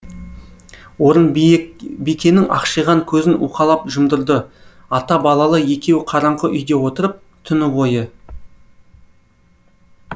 орынбикенің ақшиған көзін уқалап жұмдырды ата балалы екеуі қараңғы үйде отырып түні бойы